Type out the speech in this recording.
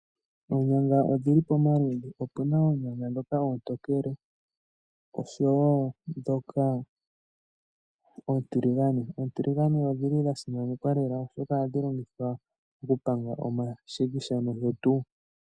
Oonyanga odhili pomaludhi, opuna oonyanga dhoka oontokele osho wo dhoka oontiligane. Oontiligane odhili dhasimanekwa lela oshoka ohadhi longithwa okupanga omashikisha nosho tu.